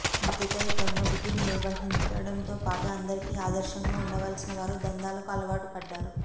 బాధ్యతాయుతంగా విధులు నిర్వర్తించడంతో పాటు అందరికీ ఆదర్శంగా ఉండాల్సిన వారు దందాలకు అలవాటుపడ్డారు